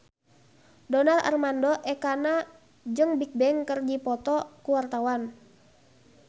Donar Armando Ekana jeung Bigbang keur dipoto ku wartawan